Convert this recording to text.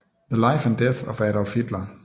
The life and death of Adolph Hitler